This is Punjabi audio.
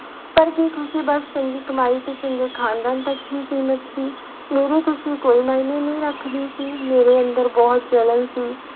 ਪਰ ਕੀ ਖ਼ੁਸ਼ੀ ਬਸ ਚੰਗੀ ਕਮਾਈ ਤੇ ਚੰਗੇ ਖਾਨਦਾਨ ਤੱਕ ਹੀ ਸੀਮਿਤ ਸੀ, ਮੇਰੀ ਖ਼ੁਸ਼ੀ ਕੋਈ ਮਾਇਨੇ ਨਹੀਂ ਰੱਖਦੀ ਸੀ, ਮੇਰੇ ਅੰਦਰ ਬਹੁਤ ਜਲਨ ਸੀ।